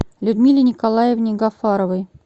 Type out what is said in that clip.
людмиле николаевне гафаровой